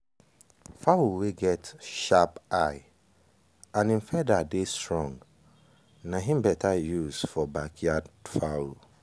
fowl wey get sharp eye and em feather dey strong nai better use for backyard fowl.